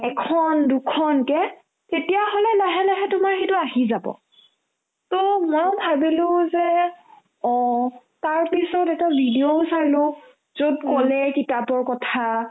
এখন দুখনকে তেতিয়াহ'লে লাহে লাহে তোমাৰ সেইটো আহি যাব to মই ভাবিলো যে অ তাৰপিছত এটা video ও চালো য'ত ক'লে কিতাপৰ কথা